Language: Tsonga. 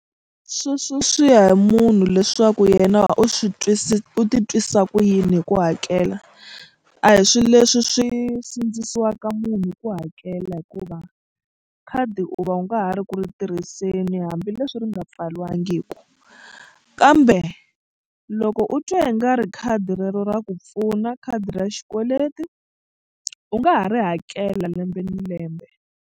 Sweswo swi ya hi munhu leswaku yena u swi u titwisa ku yini hi ku hakela a hi swilo leswi swi sindzisiwaka munhu ku hakela hikuva khadi u va u nga ha ri ku ri tirhiseni hambileswi ri nga pfariwangiku kambe loko u twa i nga ri khadi rero ra ku pfuna khadi ra xikweleti u nga ha ri hakela lembe ni lembe.